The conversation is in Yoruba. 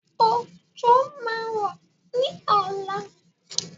Òjò máa rọ̀ ní ọ̀la.